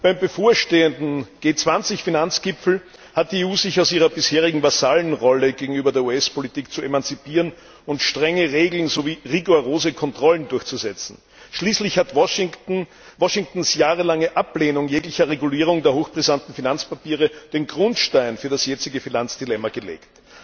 Beim bevorstehenden G20 Finanzgipfel hat die EU sich aus ihrer bisherigen Vasallenrolle gegenüber der US Politik zu emanzipieren und strenge Regeln sowie rigorose Kontrollen durchzusetzen. Schließlich hat Washingtons jahrelange Ablehnung jeglicher Regulierung der hochbrisanten Finanzpapiere den Grundstein für das jetzige Finanzdilemma gelegt.